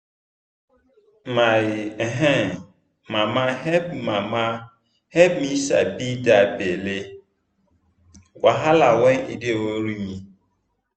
my um mama help mama help me sabi that belly wahala when e dey worry me